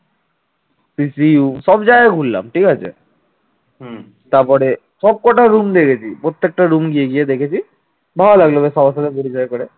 সবকটা room দেখেছি প্রত্যেকটা room গিয়ে গিয়ে দেখেছি ভালো লাগলো বেশ সবার সাথে পরিচয় করে